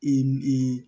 I